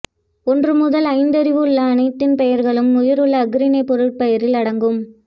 ஒன்று முதல் ஐந்தறிவுள்ள அனைத்தின் பெயர்களும் உயிருள்ள அஃறிணைப் பொருட்பெயரில் அடங்கும்